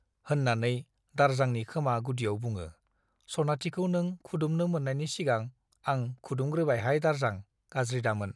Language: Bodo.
- होन्नानै दारजांनि खोमा गुदियाव बुङो ,' सनाथिखौ नों खुदुमनो मोन्नायनि सिगां आं खुदुमग्रोबायहाय दारजां , गाज्रि दामोन ।